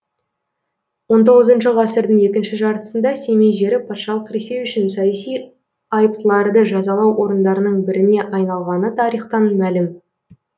он тоғызыншы ғасырдың екінші жартысында семей жері патшалық ресей үшін саяси айыптыларды жазалау орындарының біріне айналғаны тарихтан мәлім